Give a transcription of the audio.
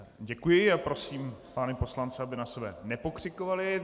Děkuji a prosím pány poslance, aby na sebe nepokřikovali.